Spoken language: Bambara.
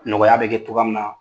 Nɔgɔya bɛ kɛ togoya min na